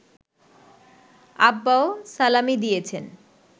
আব্বাও সালামি দিয়েছেন